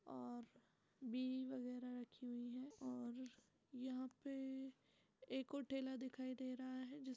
और बी इ वगैरह रखी हुई है और यहाँ पे एक और ठेला दिखाई दे रहा है जिस --